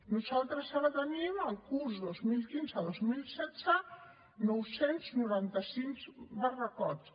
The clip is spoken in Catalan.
nosaltres ara tenim al curs dos mil quinze dos mil setze nou cents i noranta cinc barracots